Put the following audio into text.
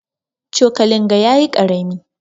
Cokalin ga yayi karami.